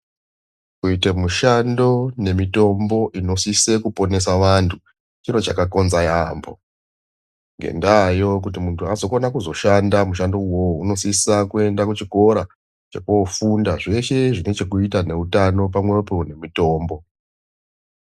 Kuite mishando nemitombo inosise kuponesa vantu chiro chakakonza yaambo. Ngendaayo kuti muntu azokona kuzoshanda kushando ivovo anosisa kuenda kuchikora chekofunda zveshe zvine chekuita nemitambo pamwepo nemitombo.